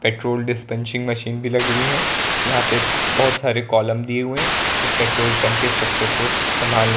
petrol dispensing machine भी लगी हुई है यहां पे बोहोत सारे कॉलम दिए हुए हैं उस पेट्रोल पंप के स्ट्रक्चर को संभालने के --